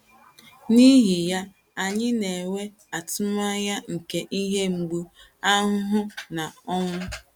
N’ihi ya, anyị na - enwe atụmanya nke ihe mgbu, ahụhụ, na ọnwụ.